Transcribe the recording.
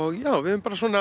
já við höfum bara